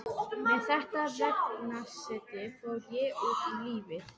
Með þetta veganesti fór ég út í lífið.